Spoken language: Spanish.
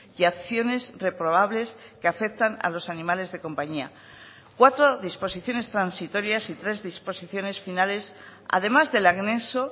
y acciones reprobables que afectan a los animales de compañía cuatro disposiciones transitorias y tres disposiciones finales además del anexo